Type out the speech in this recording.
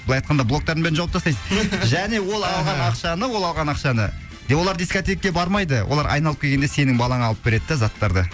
былай айтқанда блоктардың бәрін жауып тастайсыз және ол алған ақшаны ол алған ақшаны олар дискотекке бармайды олар айналып келгенде сенің балаңа алып береді де заттарды